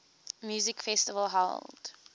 music festival held